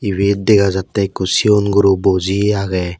ebet dega jatte ekko sigon guro buji agey.